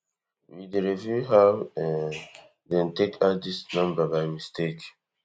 we dey review how um dem take add dis number by mistake